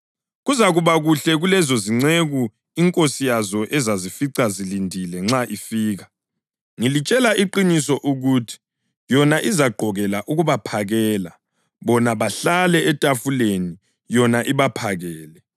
Kuzakuba kuhle kulezozinceku inkosi yazo ezazifica zilindile nxa ifika. Ngilitshela iqiniso ukuthi yona izagqokela ukubaphakela, bona bahlale etafuleni, yona ibaphakele.